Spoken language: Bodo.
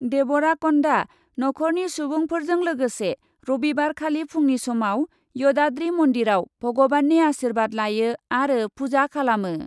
डेबराकन्दाआ नख'रनि सुबुंफोरजों लोगोसे रबिबारखालि फुंनि समाव यदाद्रि मन्दिराव भग'बाननि आसिर्बाद लायो आरो पुजा खालामो ।